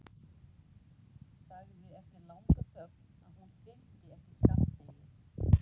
Sagði eftir langa þögn að hún þyldi ekki skammdegið.